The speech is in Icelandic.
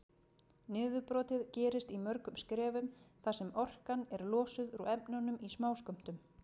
Niðurbrotið gerist í mörgum skrefum þar sem orkan er losuð úr efnunum í smáskömmtum.